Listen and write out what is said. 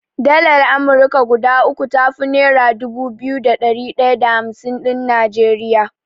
Dalar Amurka guda uku tafi nera dubu biyu da ɗari ɗaya da hamsin ɗin Najeriya.